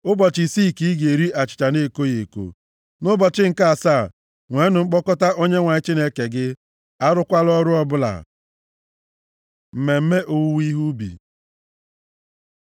Ụbọchị isii ka ị ga-eri achịcha na-ekoghị eko, nʼụbọchị nke asaa, nweenụ mkpọkọta nye Onyenwe anyị Chineke gị, arụkwala ọrụ ọbụla. Mmemme owuwe ihe ubi